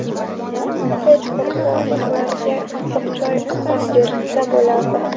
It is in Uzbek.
Hech qursa ularga issiq choy, ovqat berilsa bo‘lardi.